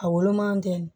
A woloman tɛ